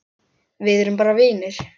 Við erum bara vinir.